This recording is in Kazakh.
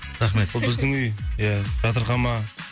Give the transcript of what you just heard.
рахмет бұл біздің үй ия жатырқама